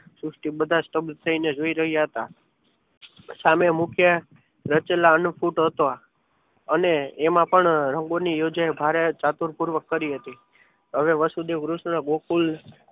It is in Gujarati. સૃષ્ટિ બધા સ્તભ થઈને જોઈ રહ્યા હતા સામે મૂક્યા રચીલા અન્નપુટ હતો. આ અને એમાં પણ રંગોની યોજના ભારેચાતુર પૂર્વક કરી હતી હવે વાસુદેવ કૃષ્ણ ગોકુળ